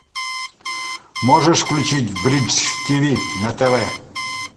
можешь включить бридж тиви на тв